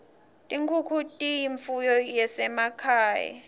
tinkhunkhu tiyimfuyo yasema khaye